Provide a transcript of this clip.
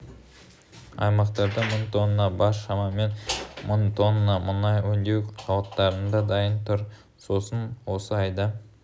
аймақтарда мың тонна бар шамамен мың тонна мұнай өңдеу зауаттарында дайын тұр сосын осы айда